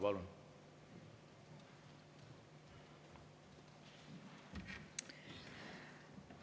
Palun!